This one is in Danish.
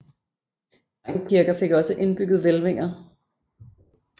Mange kirker fik ogsâ indbygget hvælvinger